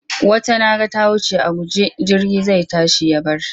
Wata na ga ta wuce a guje jirgi zai tashi ya bar ta.